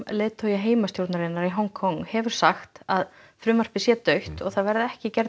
leiðtogi heimastjórnarinnar í Hong Kong hefur sagt að frumvarpið sé dautt og það verði ekki